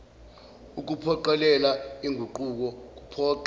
ukuphoqelela inguquko kuphoqa